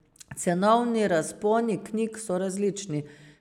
Cenovni razponi knjig so različni.